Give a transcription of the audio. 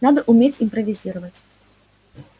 надо уметь импровизировать